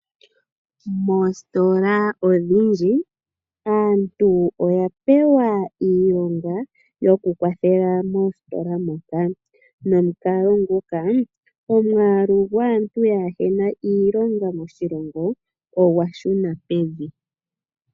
Moositola odhindji aantu oya pewa iilonga okukwathela mositola moka nomukalo nguka omwaalu gwaantu yaahe na iilonga moshilongo ogwa shu na pevi.